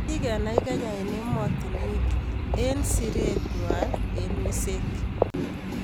Kikenai Kenya eng emotinweek eng siree ngwang eng wiseek.